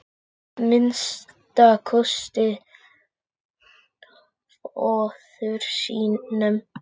Að minnsta kosti föður sínum.